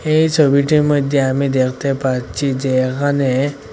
এই সোবিটির মইদ্যে আমি দেখতে পাচ্ছি যে এখানে--